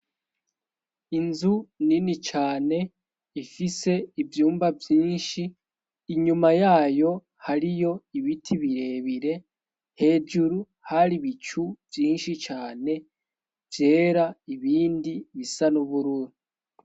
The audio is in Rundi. Inzu nini cane ifise ivyumba vyinshi, inyuma yayo hariyo ibiti birebire, hejuru hari ibicu vyinshi cane vyera, ibindi bisa n'ubururu.